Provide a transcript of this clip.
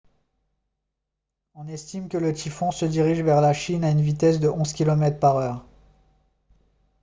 on estime que le typhon se dirige vers la chine à une vitesse de 11 km/h